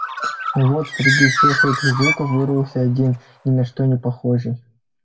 но вот среди всех этих звуков вырвался один ни на что не похожий